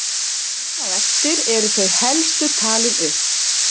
Hér á eftir eru þau helstu talin upp.